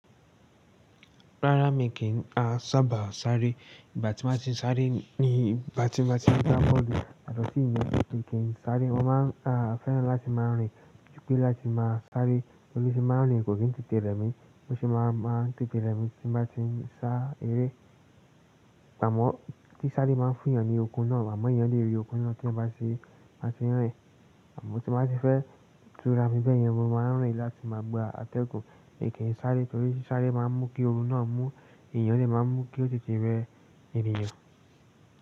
Rárá mi kì í sábà sáré, ìbá ti máa ti sáré ní ìbá tí máa ti dá bọ̀lẹ̀ yọ́to sì yẹn mi kí n sáré. Mo máa ń fẹ́ràn láti máa rìn, júpè láti máa sáré torí tí mo bá rìn kò kí n tètè rẹmi, o sì máa ń tètè rẹmi tí n bá ti ń sá eré. Àmọ́ sí sáré máa ń fún èèyàn ní okun náà, àmọ́ èèyàn lè rí okun náà tí ẹyan bá tì bá ti n rìn. Àmọ́ tí n bá ti fẹ́ tura mi bẹ́ẹ̀ yẹn mo máa ń rìn láti máa gba atẹ́gùn, mi kì í sáré torí sáré máa ń mú kí ooru náà mú iyen lè máa mú kí ó tètè rẹ ènìyàn.